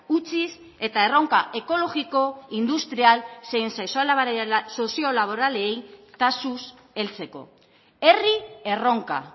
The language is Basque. utziz eta erronka ekologiko industrial zein soziolaboralei taxuz heltzeko herri erronka